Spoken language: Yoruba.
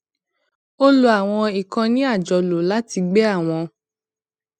ó lo àwọn ìkànnì àjọlò láti gbé àwọn